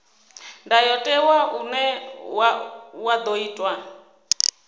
ndayotewa une wa ḓo itwa